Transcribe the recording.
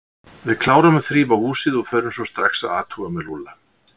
Við klárum að þrífa húsið og förum svo strax að athuga með Lúlla.